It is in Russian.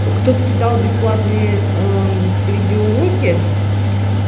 кто-то кидал бесплатные видеоуроки